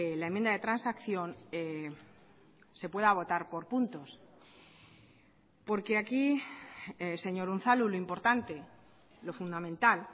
la enmienda de transacción se pueda votar por puntos porque aquí señor unzalu lo importante lo fundamental